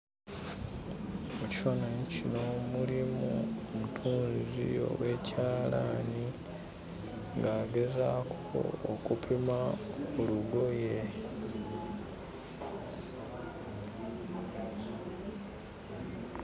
Mu kifaananyi kino mulimu omutunzi ow'ekyalaani ng'agezaako okupima ku lugoye.